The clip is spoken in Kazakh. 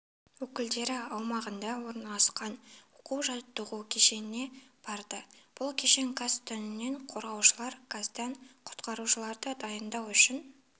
өкілдері аумағында орналасқан оқу жаттығу кешеніне барды бұл кешен газ түтіннен қорғаушылар газдан құтқарушыларды дайындау үшін